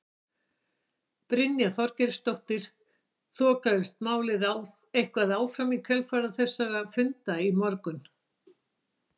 Brynja Þorgeirsdóttir: Þokaðist málið eitthvað áfram í kjölfar þessara funda í morgun?